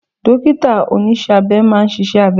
Dọ́kítà oníṣẹ́ abẹ máa ṣiṣẹ́ abẹ.